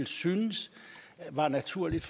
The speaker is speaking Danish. synes det var naturligt